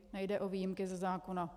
Nejde o výjimky ze zákona.